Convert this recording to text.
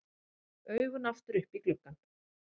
Augun aftur upp í gluggann.